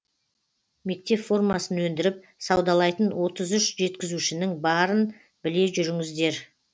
мектеп формасын өндіріп саудалайтын отыз үш жеткізушінің барын біле жүріңіздер